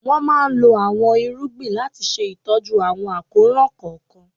Wọ́n máa lo àọn irúgbìn láti ṣe ìtọ́jú àwọn àkóràn kọ̀ọ̀kan.